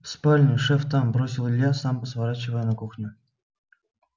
в спальню шеф там бросил илья сам сворачивая на кухню